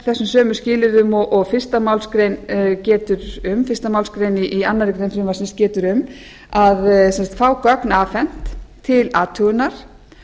þessum sömu skilyrðum og fyrstu málsgrein í annarri grein frumvarpsins getur um fengið gögn afhent til athugunar